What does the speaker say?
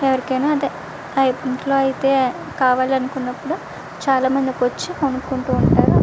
ఎవరికి అన్నపుడు వచ్చి చాలా మంది కొనుకుంటు ఉంటారు.